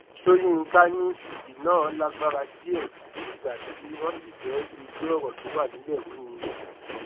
sókínkà ní èdè náà lágbára díẹ bíi ìgbà tí wọn sì fẹẹ dojú ọrọ tó wà nílẹ rú ni